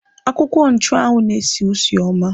Akwụkwọ nchụanwụ na-esi usi ọma.